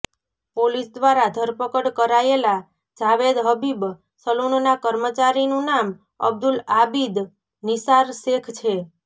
police દ્વારા ધરપકડ કરાયેલા જાવેદ હબીબ સલૂનનાં કર્મચારીનું નામ અબ્દુલ આબીદ નિસાર શેખ છે